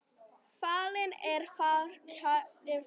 Fallinn er frá kær frændi.